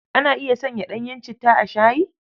Ana iya sanya ɗanyen citta a shayi?